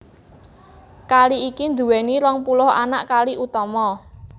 Kali iki nduwèni rong puluh anak kali utama